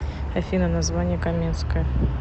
афина название каменское